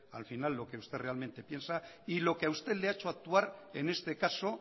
al final lo que usted realmente piensa y lo que a usted le ha hecho actuar en este caso